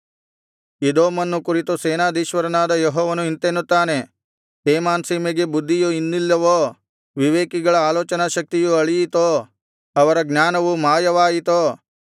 ಎದೋಮನ್ನು ಕುರಿತು ಸೇನಾಧೀಶ್ವರನಾದ ಯೆಹೋವನು ಇಂತೆನ್ನುತ್ತಾನೆ ತೇಮಾನ್ ಸೀಮೆಗೆ ಬುದ್ಧಿಯು ಇನ್ನಿಲ್ಲವೋ ವಿವೇಕಿಗಳ ಆಲೋಚನಾಶಕ್ತಿಯು ಅಳಿಯಿತೋ ಅವರ ಜ್ಞಾನವು ಮಾಯವಾಯಿತೋ